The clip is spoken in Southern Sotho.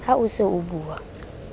ha o se o bua